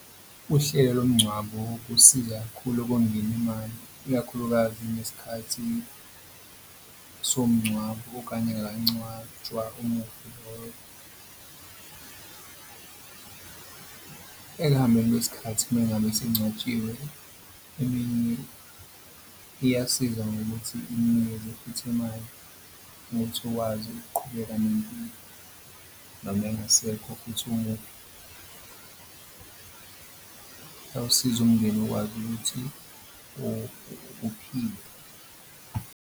Uhlelo lomngcwabo kusiza kakhulu okongeni imali, ikakhulukazi nesikhathi somngcwabo okanye engakangcwatshwa umufi loyo. Ekuhambeni kwesikhathi mengabe esengcwatshiwe iyasiza ngokuthi inikeze futhi imali ukuthi ukwazi ukuqhubeka nempilo noma engasekho futhi umufi. Kuyawusiza umndeni ukwazi ukuthi uphile.